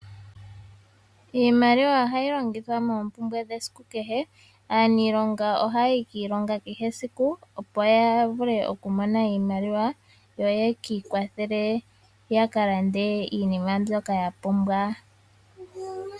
Iimaliwa ohayi longithwa moompumbwe dhesiku kehe. Aaniilonga ohaya yi kiilonga kehe esiku, opo ya vule okumona iimaliwa, yo ye ki ikwathele ya ka lande iinima mbyoka ya pumbwa.